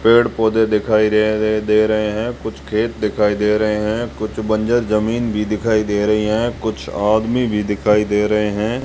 पेड़ पौधे दिखाई दे रहे हैं कुछ खेत दिखाई दे रहे हैं कुछ बंजर जमीन भी दिखाई दे रही है कुछ आदमी भी दिखाई दे रहे हैं।